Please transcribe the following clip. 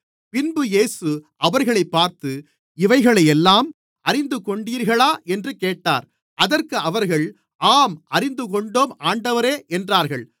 பின்பு இயேசு அவர்களைப் பார்த்து இவைகளையெல்லாம் அறிந்துகொண்டீர்களா என்று கேட்டார் அதற்கு அவர்கள் ஆம் அறிந்துகொண்டோம் ஆண்டவரே என்றார்கள்